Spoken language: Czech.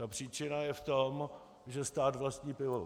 Ta příčina je v tom, že stát vlastní pivovar.